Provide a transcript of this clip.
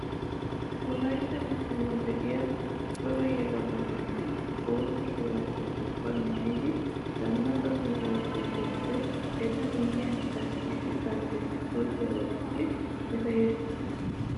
wolaytta giddon de'iyaa cora yelaga naati bootta shuraabiyaa ubbay maayidi zannaqa sohuwaa biido wode ete miyiyaan qassi issi xaacee isporriyaa oottiidi eta yashissees!